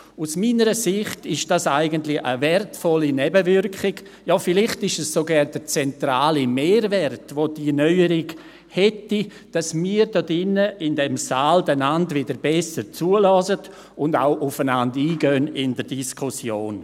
Aus meiner Sicht ist dies eigentlich eine wertvolle Nebenwirkung, vielleicht sogar der zentrale Mehrwert, den diese Neuerung hätte, nämlich, dass wir hier in diesem Saal wieder besser zuhören und in der Diskussion auch aufeinander eingehen.